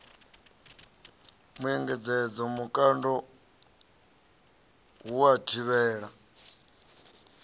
muengedzo vhukando ha u thivhela